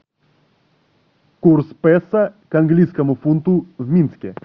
курс песо к английскому фунту в минске